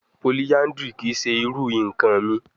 Polyandry kii ṣe iru nkan mi